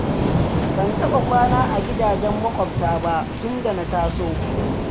Ban taɓa kwana a gidajen maƙwabta ba tun da na taso.